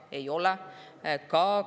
Ei ole!